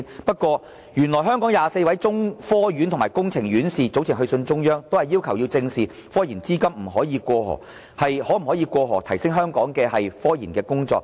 不過，原來香港24位中科院及工程院士早前致函中央，均是要求正視科研資金可否"過河"，以協助提升香港的科研工作。